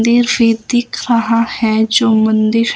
दिल से दिख रहा है जो मंदिर--